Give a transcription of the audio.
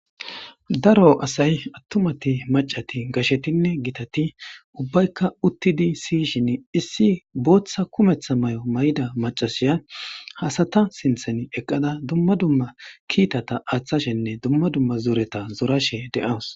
Daro asay atumatinne maccati gashetinne gitati ubaykka uttidinne siyishin issi boththa kumetha mayomaza macasiya sinththan eqqada dumma dumma kiitaththa aathashenne dumma dumma zoreta zorashe de'awus.